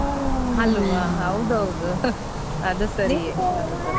ಹಲ್ವಾ ಹೌದ್ ಹೌದು ಅದು ಸರಿಯೇ .